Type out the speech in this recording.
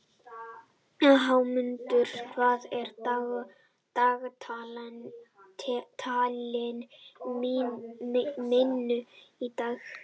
Hámundur, hvað er á dagatalinu mínu í dag?